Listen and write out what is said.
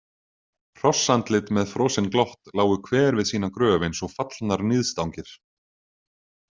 Hrossandlit með frosin glott lágu hver við sína gröf eins og fallnar níðstangir.